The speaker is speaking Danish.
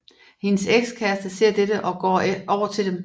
Hendes ekskæreste ser dette og går over til dem